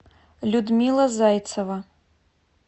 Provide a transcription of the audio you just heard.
людмила зайцева